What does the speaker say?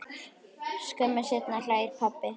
Skömmu seinna hlær pabbi.